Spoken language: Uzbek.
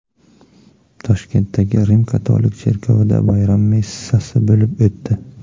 Toshkentdagi Rim-katolik cherkovida bayram messasi bo‘lib o‘tdi.